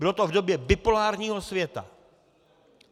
Bylo to v době bipolárního světa.